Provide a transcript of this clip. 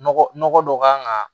Nɔgɔ nɔgɔ dɔ kan ka